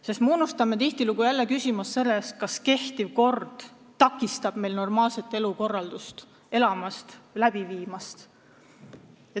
Me ju unustame tihtilugu küsida, kas kehtiv kord takistab meil normaalset elukorraldust kehtestamast.